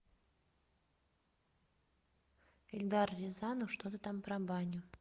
эльдар рязанов что то там про баню